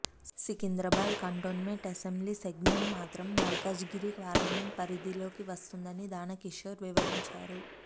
Secunderabad cantonment assembly segment మాత్రం Malkajgiri parliament పరిధిలోకి వస్తుందని దానకిషోర్ వివరించారు